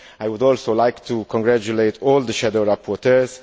I would also like to congratulate all the shadow rapporteurs.